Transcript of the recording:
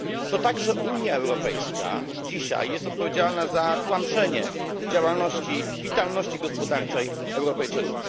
To także Unia Europejska dzisiaj jest odpowiedzialna za tłamszenie działalności, witalności gospodarczej Europejczyków.